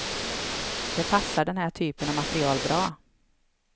Det passar den här typen av material bra.